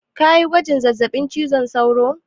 Kayi gwajin zazzaɓin cizon sauro?